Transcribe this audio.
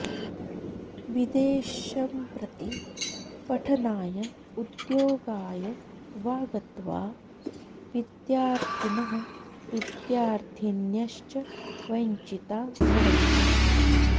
विदेशम्प्रति पठनाय उद्योगाय वा गत्वा विद्यार्थिनः विद्यार्थिन्यश्च वञ्चिता भवन्ति